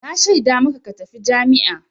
Na shaida maka ka tafi jami'a!